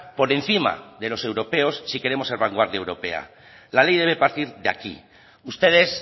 por encima de los europeos si queremos ser vanguardia europea la ley debe partir de aquí ustedes